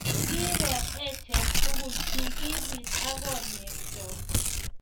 Kikiro achek tukul keikibit akonyek chok